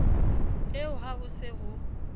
eo ha ho se ho